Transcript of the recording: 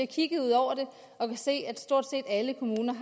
kigget ud over det og kan se at stort set alle kommuner